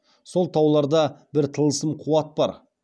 сол тауларда бір тылсым қуат бар